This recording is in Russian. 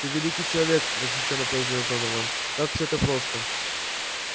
ты великий человек восхищённо произнёс донован как все это просто